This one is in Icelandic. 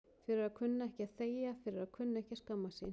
Fyrir að kunna ekki að þegja, fyrir að kunna ekki að skammast sín.